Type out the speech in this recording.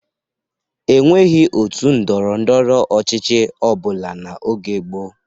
E nweghi òtù ndọrọ ndọrọ ọchịchị ọ bụla n'oge gboo.